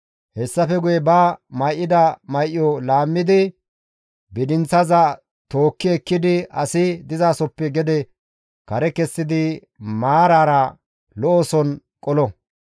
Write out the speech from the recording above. Hessafe guye ba may7ida may7o laammidi bidinththaza tookki ekkidi asi dizasoppe gede kare kessidi maarara lo7oson qolo.